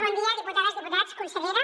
bon dia diputades diputats consellera